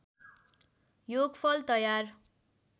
योगफल तयार